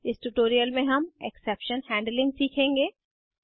इस ट्यूटोरियल में हम एक्सेप्शन हैंडलिंग सीखेंगे